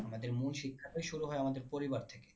আমাদের মূল শিক্ষা তো শুরু হয় আমাদের পরিবার থেকে।